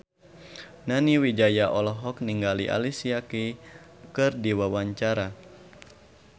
Nani Wijaya olohok ningali Alicia Keys keur diwawancara